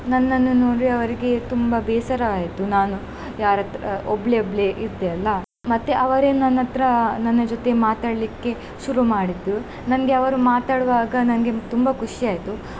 ನನ್ನನ್ನು ನೋಡಿ ಅವರಿಗೆ ತುಂಬಾ ಬೇಸರವಾಯಿತು ನಾನು ಯಾರತ್ರ ಒಬ್ಳೇ ಒಬ್ಳೇ ಇದ್ದೇ ಅಲ್ಲಾ. ಮತ್ತೆ ಅವರೇ ನನ್ ಹತ್ರ ನನ್ನ ಜೊತೆ ಮಾತಡ್ಲಿಕ್ಕೆ ಶುರು ಮಾಡಿದ್ರು ನನ್ಗೆ ಅವರು ಮಾತಾಡುವಾಗ ನನ್ಗೆ ತುಂಬಾ ಖುಷಿ ಆಯ್ತು.